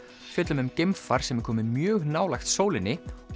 fjöllum um geimfar sem er komið mjög nálægt sólinni